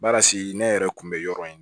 Baara sigi ne yɛrɛ kun bɛ yɔrɔ in na